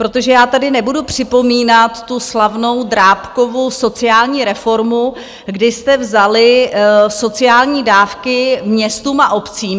Protože já tady nebudu připomínat tu slavnou Drábkovu sociální reformu, kdy jste vzali sociální dávky městům a obcím.